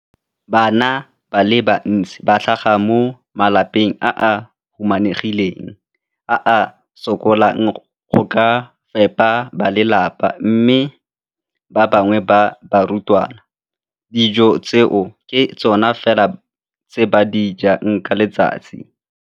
Bana ba le bantsi ba tlhaga mo malapeng a a humanegileng a a sokolang go ka fepa ba lelapa mme ba bangwe ba barutwana, dijo tseo ke tsona fela tse ba di jang ka letsatsi.